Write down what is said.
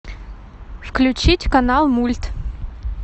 включить канал мульт